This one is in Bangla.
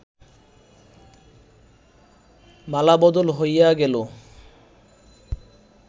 মালাবদল হইয়া গেল